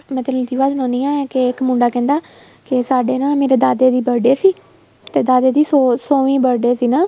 ਮੈਂ ਲਕੀਵਾਂ ਸੁਣਾਨੀ ਆ ਕੇ ਇੱਕ ਮੁੰਡਾ ਕਹਿੰਦਾ ਕੇ ਸਾਡਾ ਨਾ ਮੇਰੇ ਦਾਦੇ ਦੀ birthday ਸੀ ਤੇ ਦਾਦੇ ਸੀ ਸੋਵੀ birthday ਸੀ ਨਾ